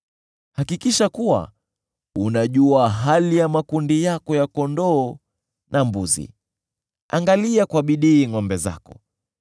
Hakikisha kuwa unajua hali ya makundi yako ya kondoo na mbuzi, angalia kwa bidii ngʼombe zako.